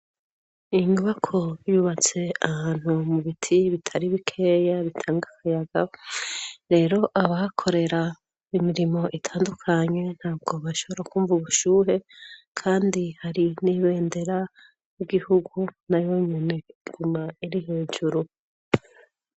Ingibako byubatse ahantu mu biti bitari bikeya bitanga akayaga rero abakorera imirimo itandukanye nta bwo bashabora kwumva ubushuhe, kandi hari n'ibendera u gihugu na yo munguma iri hejuru.